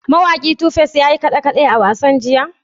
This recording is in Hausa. Mawaki Tu Face ya yi kaɗe-kaɗe a wasan jiya?